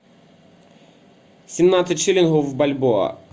семнадцать шиллингов в бальбоа